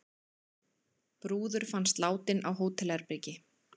Brúður fannst látin á hótelherbergi